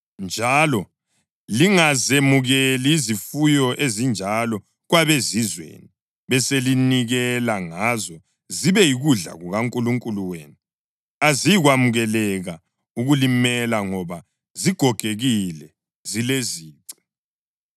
njalo lingazemukeli izifuyo ezinjalo kwabezizweni, beselinikela ngazo zibe yikudla kukaNkulunkulu wenu. Aziyi kwamukeleka ukulimela ngoba zigogekile, zilezici.”